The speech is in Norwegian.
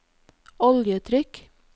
oljetrykk